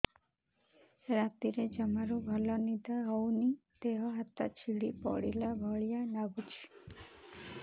ରାତିରେ ଜମାରୁ ଭଲ ନିଦ ହଉନି ଦେହ ହାତ ଛିଡି ପଡିଲା ଭଳିଆ ଲାଗୁଚି